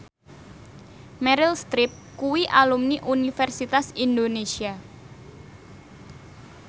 Meryl Streep kuwi alumni Universitas Indonesia